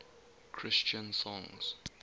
christian songs